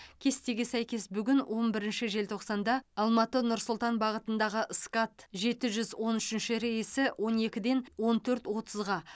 кестеге сәйкес бүгін он бірінші желтоқсанда алматы нұр сұлтан бағытындағы скат жеті жүз он үшінші рейсі он екіден он төрт отызға